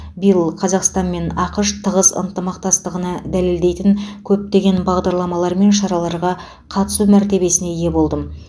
биыл қазақстан мен ақш тығыз ынтымақтастығына дәлелдейтін көптеген бағдарламалар мен шараларға қатысу мәртебесіне ие болдым